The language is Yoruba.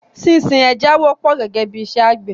Sísin ẹja wọ́pọ̀ gẹ́gẹ́ bí i iṣẹ́ àgbẹ̀.